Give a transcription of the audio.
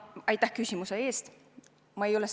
Aitäh küsimuse eest!